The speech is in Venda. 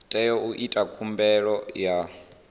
tea u ita khumbelo ya